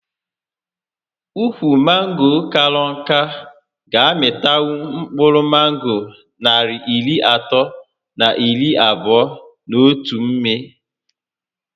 Ukwu mango kara nká ga -amịtanwu mkpụrụ mango narị iri atọ na iri abụo n'otu mmị